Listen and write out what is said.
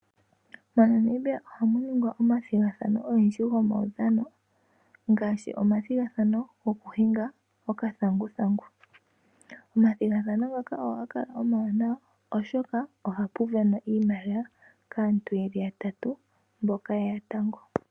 MoNamibia ohamu ningwa omathigathano ogendji gomaudhano, ngaashi omathigathano goku hinga okathanguthangu. Omathigathano ngaka ohaga kala omawanawa, oshoka ohapu winwa iimaliwa kaantu yeli yatatu mboka yeya tango.